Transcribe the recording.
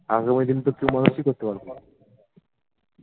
এসময় কিন্তু কেও মানুষই করতে পারবেনা